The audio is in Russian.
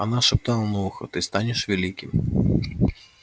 она шептала на ухо ты станешь великим